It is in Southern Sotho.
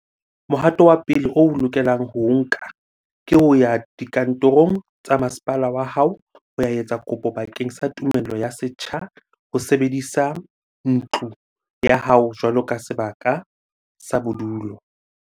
Mohato wa pele o o lokelang ho o nka ke ho ya dikantorong tsa masepala wa hao ho ya etsa kopo bakeng sa tumello ya setsha ho sebedisa ntlo ya hao jwaloka sebaka sa bodulo.